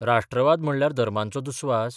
राष्ट्रवाद म्हणल्यार धर्मांचो दुस्वास?